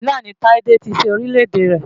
Katsina ni Tádé ti sin Orílẹ̀ èdè rẹ̀.